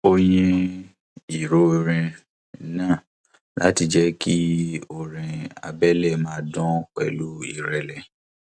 ó yín ìró orin náà láti jẹ kí orin abẹlé máa dun pẹlú ìrẹlẹ